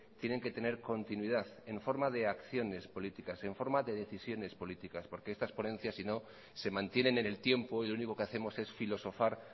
tienen que tener continuidad en forma de acciones políticas en forma de decisiones políticas porque estas ponencias si no se mantienen en el tiempo y lo único que hacemos es filosofar